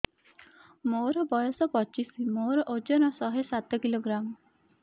ମୋର ବୟସ ପଚିଶି ମୋର ଓଜନ ଶହେ ସାତ କିଲୋଗ୍ରାମ